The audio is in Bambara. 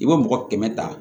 I bɛ mɔgɔ kɛmɛ ta